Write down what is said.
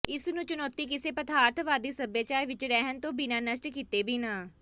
ਇਸ ਨੂੰ ਚੁਣੌਤੀ ਕਿਸੇ ਪਦਾਰਥਵਾਦੀ ਸੱਭਿਆਚਾਰ ਵਿੱਚ ਰਹਿਣ ਤੋਂ ਬਿਨਾਂ ਨਸ਼ਟ ਕੀਤੇ ਬਿਨਾਂ